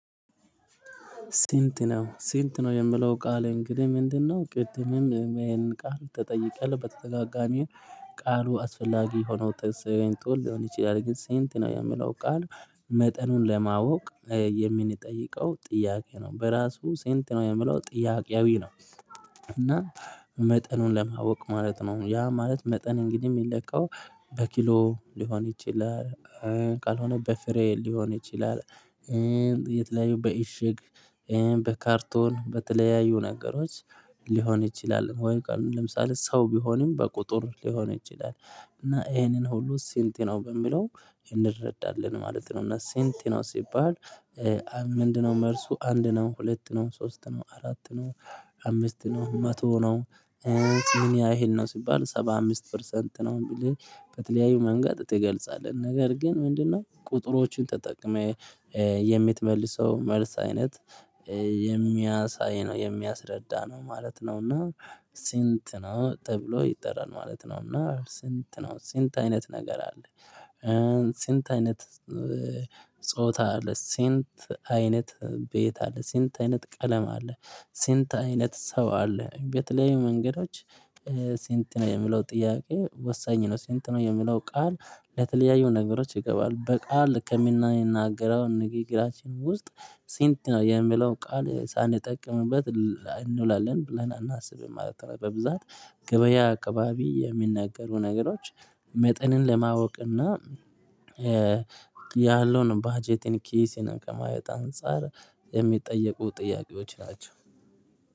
ስንት ነው ስንት ነው የሚለው ቃል እንግዲህ ምንድነው? ቅድምም ይሄንን ቃል ተጠይቀህ በተደጋጋሚ ቃሉ አስፈላጊ ሆኖ ጥንሰውን ጡል ሊሆን ይችላል ግን ሴንት ነው የምለው ቃል መጠኑን ለማወቅ የምንጠይቀው ጥያቄ ነው። በራሱ ስንት ነው? የሚለው ጥያቄያዊ ነው። እና መጠኑን ለማወቅ ማለት ነው። ያ ማለት መጠን እንግዲህ ሚለካው በኪሎ ሊሆን ይችላል ካልሆነ በፍሬ ሊሆን ይችላል። የተለያዩ በእሽግ በካርቶን በተለያዩ ነገሮች ሊሆን ይችላል። ወይ ካልሆነ ለምሳሌ ሰው ቢሆንም በቁጥር ሊሆን ይችላል። እና ይሄንን ሁሉ ስንት ነው በሚለው እንረዳለን ማለት ነው። እና ስንት ነው ሲባል ምንድነው መልሱ አንድ ነው ሁለት ነው ሶስት ነው አራት ነው አምስት ነው መቶ ነው ምን ያህል ነው ሲባል ሰባ አምስት ፐርሰንት ነው ብለህ በተለያዩ መንገድ ትገልጻለህ። ነገር ግን ምንድነው ቁጥሮችን ተጠቅመህ የምትመልሰው መልስ አይነት የሚያሳይ ነው የሚያስረዳ ነው ማለት ነው። እና ስንት ነው ተብሎ ይጠራል ማለት ነው። እና ስንት ነው ስንት አይነት ነገር አለ ስንት አይነት ጾታ አለ? ስንት አይነት ቤት አለ? ስንት አይነት ቀለም አለ? ስንት አይነት ሰው አለ? በተለያዩ መንገዶች ስንት ነው የሚለው ጥያቄ ወሳኝ ነው። ስንት ነው የሚለው ቃል ለተለያዩ ነገሮች ይገባል። በቃል ከምንናገረው ንግግራችን ውስጥ ስንት ነው የሚለው ቃል ሳንጠቅምበት እንውላለን ብለን አናስብም ማለት ነው። በብዛት ገበያ አካባቢ የሚነገሩ ነገሮች መጠንን ለማወቅና ያለውን ባጀትን ኪስን ከማየት አንፃር የሚጠየቁ ጥያቄዎች ናቸው።